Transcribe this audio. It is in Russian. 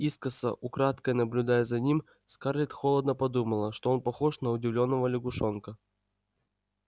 искоса украдкой наблюдая за ним скарлетт холодно подумала что он похож на удивлённого лягушонка